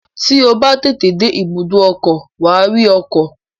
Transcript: Tí o bá tètè dé ibùdó ọkọ̀, wà á rí ọkọ̀